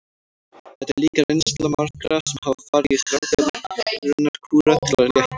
Þetta er líka reynsla margra sem hafa farið í stranga megrunarkúra til að léttast.